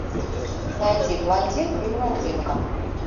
найди блондинка и блондинка